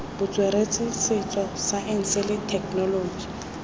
botsweretshi setso saense le thekenoloji